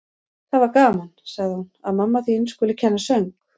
Það var gaman, sagði hún: Að mamma þín skuli kenna söng.